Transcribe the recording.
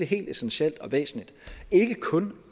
helt essentielt og væsentligt ikke kun